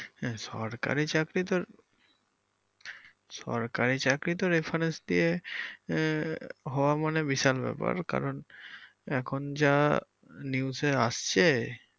আহ সরকারী চাকরি তোর সরকারি চাকরি তো reference দিয়ে হওয়া মানে বিশাল ব্যাপার কারন এখন যা newes এ আসছে